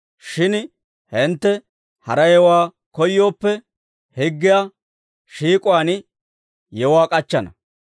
Shin hintte hara yewuwaa koyyooppe, higgiyaa shiik'uwaan yewuwaa k'achchana.